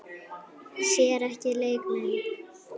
Sér ekki leik minn.